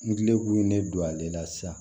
Ngilɛkun ye ne don ale la sisan